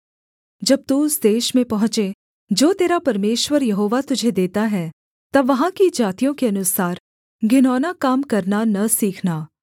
जब तू उस देश में पहुँचे जो तेरा परमेश्वर यहोवा तुझे देता है तब वहाँ की जातियों के अनुसार घिनौना काम करना न सीखना